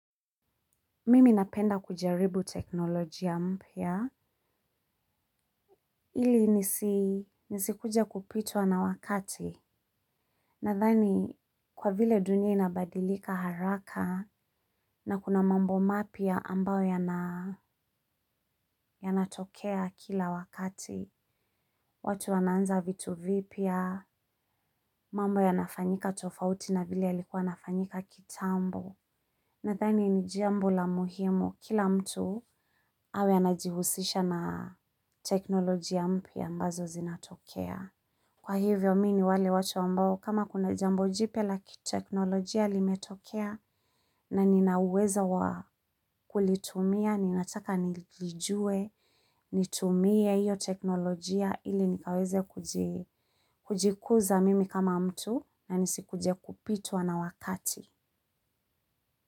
Mimi napenda kujaribu teknolojia mpya. Ili nisi nisikuje kupitwa na wakati. Nathani kwa vile dunia inabadilika haraka na kuna mambo mapya ambao yanatokea kila wakati. Watu wanaanza vitu vipya mambo yanafanyika tofauti na vile yalikuwa yanafanyika kitambo. Nathani ni jambo la muhimu, kila mtu awe anajihusisha na teknolojia mpya ambazo zinatokea. Kwa hivyo mimi ni wale watu ambao kama kuna jambo jipya la kiteknolojia limetokea naninaweza kulitumia, ninataka nilijue, nitumie iyo teknolojia ili nikaweze kujikuza mimi kama mtu na nisikuje kupitwa na wakati.